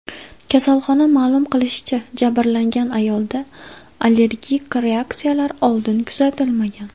Kasalxona ma’lum qilishicha, jabrlangan ayolda allergik reaksiyalar oldin kuzatilmagan.